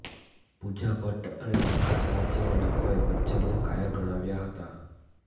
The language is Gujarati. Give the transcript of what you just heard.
પૂજા ભટ્ટ અને પ્રકાશ રાજ જેવા લોકોએ બચ્ચનને કાયર ગણાવ્યા હતા